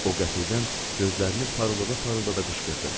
O qəfildən gözlərini parıldada-parıldada qışqırdı.